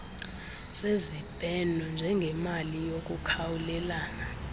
sezibheno njengemali yokukhawulelana